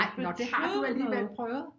Nej nå det har du alligevel prøvet